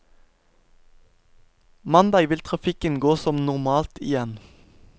Mandag vil trafikken gå som normalt igjen.